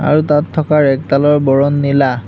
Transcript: আৰু তাত থকা ৰেগডালৰ বৰণ নীলা।